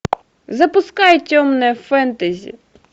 запускай темное фэнтези